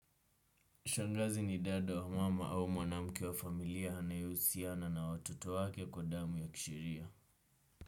Shangazi ni dada wa mama au mwanamke wa familia anayehusiana na watoto wake kwa damu ya kisheria.